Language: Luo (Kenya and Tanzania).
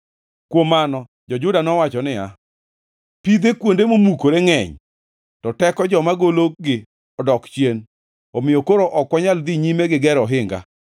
Kuom mano, jo-Juda nowacho niya, “Pidhe mag kuonde momukore ngʼeny, to teko joma gologi odok chien, omiyo koro ok wanyal dhi nyime gigero ohinga.”